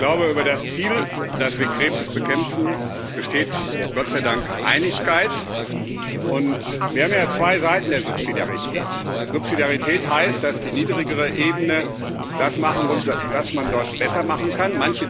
Ich glaube, über das Ziel, dass wir Krebs bekämpfen, besteht Gott sei Dank Einigkeit. Wir haben ja zwei Seiten der Subsidiarität Subsidiarität heißt, dass die niedrigere Ebene das machen muss, das man dort besser machen kann.